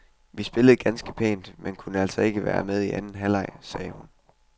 Vi spillede ganske pænt, men kunne altså ikke være med i anden halvleg, sagde hun.